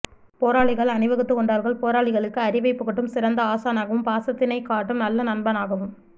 போராளிகள் அணிவகுத்துக்கொண்டார்கள் போராளிகளுக்கு அறிவைப்புகட்டும் சிறந்த ஆசானாகவும் பாசத்தினைக்காட்டும் நல்ல நண்பனாகவும்